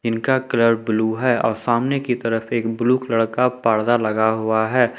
उनका colour blue है और सामने की तरफ एक ब्लू कलर पर्दा लगा हुआ है।